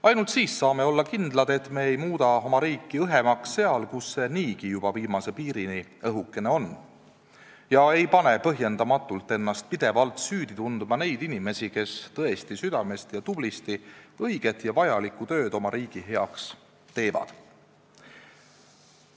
Ainult siis saame olla kindlad, et me ei muuda oma riiki õhemaks seal, kus see niigi juba viimase piirini õhukene on, ega pane põhjendamatult ennast pidevalt süüdi tundma neid inimesi, kes tõesti südamest ja tublisti õiget ja vajalikku tööd oma riigi heaks teevad.